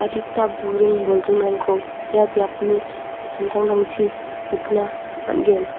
adita buring bolgrimrangko ia biapni samtangtangchi nikna man·gen.